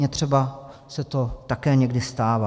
Mně třeba se to někdy také stává.